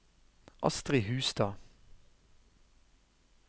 Astri Hustad